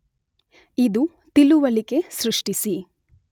ಇದು ತಿಳುವಳಿಕೆ ಸೃಷ್ಠಿಸಿ